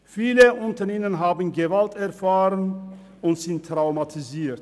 Viele unter ihnen haben Gewalt erfahren und sind traumatisiert.